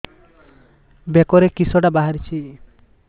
ବେକରେ କିଶଟା ବାହାରିଛି